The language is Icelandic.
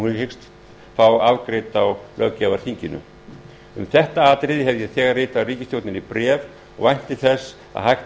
hyggst fá afgreidd á löggjafarþinginu um þetta atriði hef ég þegar ritað ríkisstjórn bréf og vænti þess að hægt